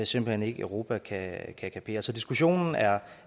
simpelt hen ikke europa kan kapere så diskussionen er